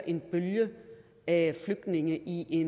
en bølge af flygtninge i i